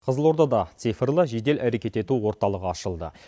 қызылордада цифрлы жедел әрекет ету орталығы ашылды